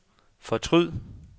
fortryd